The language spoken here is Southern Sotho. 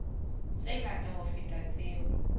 tse ngata ho feta tseo